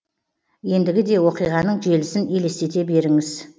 ендігі де оқиғаның желісін елестете беріңіз